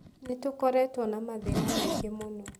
Nĩ tũkoretwo na mathĩna maingĩ mũno.